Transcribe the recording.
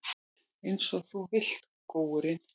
Einsog þú vilt, góurinn.